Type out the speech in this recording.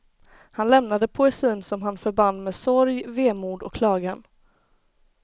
Han lämnade poesin som han förband med sorg, vemod och klagan.